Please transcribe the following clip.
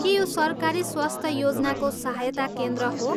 के यो सरकारी स्वास्थ्य योजनाको सहायता केन्द्र हो?